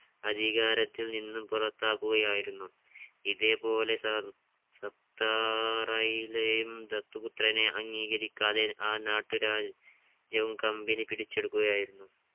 അധികാരത്തിൽ നിന്നും പുറത്താക്കുകയായിരുന്നു. ഇതേപോലെ സപ്‌താറയിലെയും ദത്തുപുത്രനെ അംഗീകരിക്കാതെ ആ നാട്ടു രാജ് ജ്യവും company പിടിച്ചെടുക്കുകയായിരുന്നു.